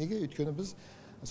неге өйткені біз